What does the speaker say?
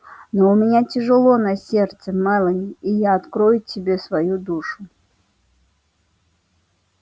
но у меня тяжело на сердце мелани и я открою тебе свою душу